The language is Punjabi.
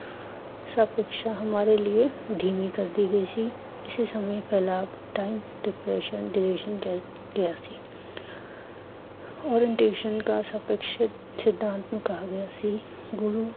ਸਭ ਕੁਝ ਹਮਾਰੇ ਲਿਏ ਧੀਮੀ ਕਰਦੀ ਗਈ ਸੀ, ਇਸੇ time depression ਕਿਹਾ ਸੀ। orientation ਕਾ ਸਪੇਕਸ਼ ਸਿਧਾਂਤ ਕਿਹਾ ਗਿਆ ਸੀ ਗੁਰੂ